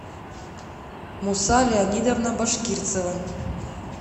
муса леонидовна башкирцева